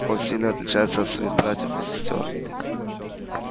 он сильно отличается от своих братьев и сестёр